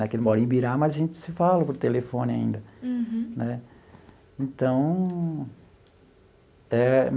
Né que ele mora em Ibirá, mas a gente se fala por telefone ainda. Uhum. Né então.